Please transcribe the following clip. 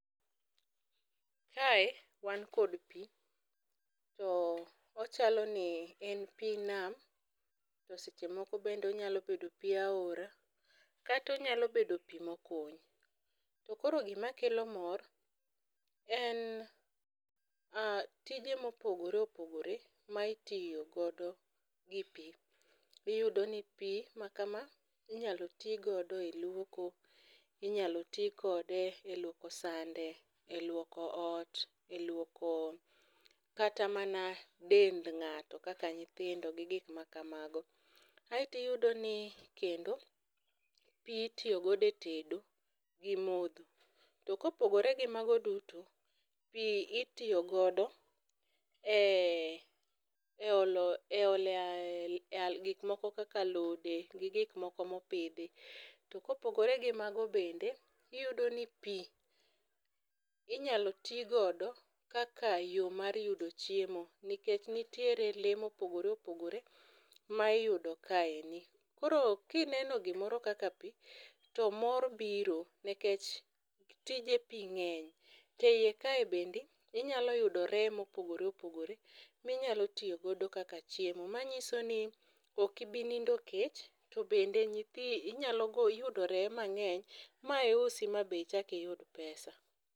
Kae wan kod pi, to ochalo ni en pi nam to seche moko bende onyalo bedo pi aora kata onyalo bedo pi mokuny. To koro gima kelo mor en tije mopogore opogore ma itiyo godo gi pi. Iyudo ni pi makama inyalo ti godo eluoko, inyalo ti kode eluoko sande , eluoko ot eluoko kata mana dend ng'ato kaka nyithindo gi gik makamago. Aeto iyudo ni kendo pi itiyo godo e tedo gi modho. To kopogore gi mago duto, pi itiyo godo e eolo e gik moko kaka alode gi gik moko mopidhi. To kopogore gi mago bende, iyudo ni pi inyalo ti godo kaka yo mar yudo chiemo nikech nitiere lee mopogore opogore ma iyudo kaendi. Koro kineno gimoro kaka pi to mor biro nikech tije pi ng'eny to eiye kae bende inyalo yudo reye mopogore opogore minyalo tiyo godo kaka chiemo. Manyiso ni ok ibi nindo kech to bende inyalo yudoree mang'eny ma iusi ma be ichak iyud pesa.